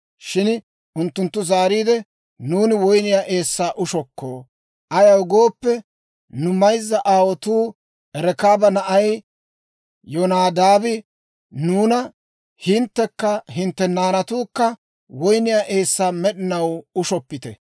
Shin unttunttu zaariide, «Nuuni woyniyaa eessaa ushokko; ayaw gooppe, nu mayzza aawuwaa Rekaaba na'ay Yonadaabi nuuna, ‹Hinttekka hintte naanatuukka woyniyaa eessaa med'inaw ushoppite.